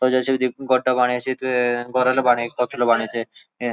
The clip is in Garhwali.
त जे.सी.बी. कु गड्ढा बनए त घोरो ला बनए पतलू बनायू तें।